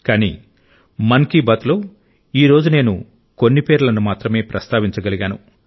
కానీ మన్ కి బాత్ లో ఈ రోజు నేను కొన్ని పేర్లను మాత్రమే ప్రస్తావించగలిగాను